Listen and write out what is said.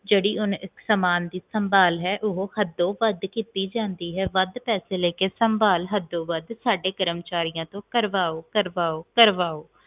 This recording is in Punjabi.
ਜਿਹੜੀ ਸਾਮਾਨ ਦੀ ਸੰਭਾਲ ਹੈ ਉਹ ਹੱਦੋਂ ਵੱਧ ਕੀਤੀ ਜਾਂਦੀ ਹੈ ਵੱਧ ਪੈਸੇ ਦੇ ਕੇ ਸਮਭਕ ਹੱਦੋਂ ਵੱਧ ਸਾਡੇ ਕਰਮਚਾਰੀਆਂ ਤਨ ਕਰਵਾਓ ਕਰਵਾਓ ਕਰਵਾਓ